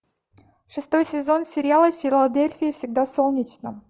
шестой сезон сериала в филадельфии всегда солнечно